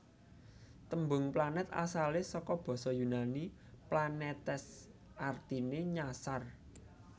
Tembung planet asalé saka basa Yunani planetes artine nyasar